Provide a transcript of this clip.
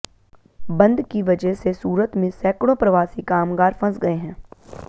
बंद की वजह से सूरत में सैकड़ों प्रवासी कामगार फंस गए हैं